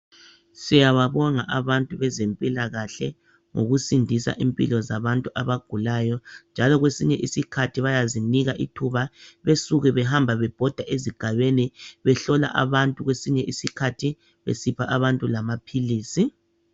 Siyababonga abantu bezempilakahle ngokusindisa impilo zabantu abagulayo njalo kwesinye isikhathi bayazinika ithuba besuke behamba bebhoda ezigabeni behlola abantu kwesinye isikhathi besipha abantu lamaphilisi